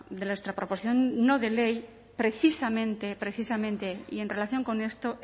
de nuestra proposición no de ley precisamente precisamente y en relación con esto